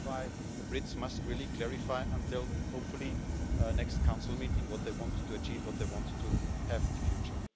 That's why the Brits must clarify hopefully by the next Council meeting what they want to achieve, what they want to have in the future.